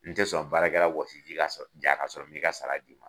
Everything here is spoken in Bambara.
N tɛ sɔn baarakɛla wɔsiji ka sɔrɔ ja ka sɔrɔ m'i ka sara d'i ma.